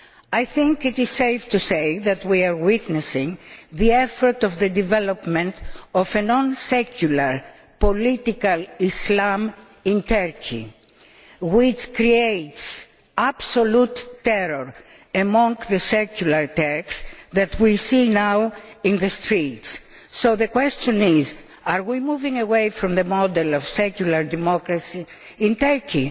I think it is safe to say that we are witnessing efforts towards the development of a non secular political Islam in Turkey which creates absolute terror among the secular Turks that we see now in the streets. So the question is are we moving away from the model of secular democracy in Turkey?